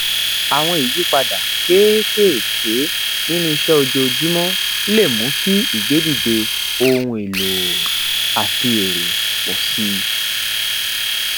àwọn ìyípadà kéékèèké nínú iṣe ojoojúmó lè mú ki igbedide ohun eloo ati ere po si